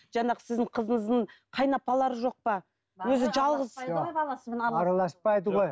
жаңағы сіздің қызыңыздың қайын апалары жоқ па өзі жалғыз араласпайды ғой